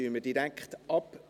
Dann stimmen wir direkt ab.